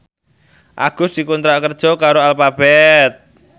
Agus dikontrak kerja karo Alphabet